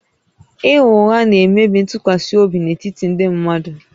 Ịgha ụgha na-emebi ntụkwasị obi n'etiti ndị mmadụ